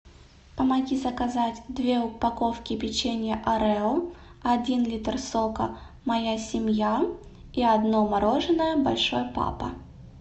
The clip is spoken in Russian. помоги заказать две упаковки печенья орео один литр сока моя семья и одно мороженое большой папа